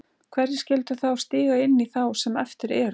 Hverjir skildu þá stíga inn í þá sem eftir eru?